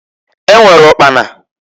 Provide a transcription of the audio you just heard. E nwere ụkpana.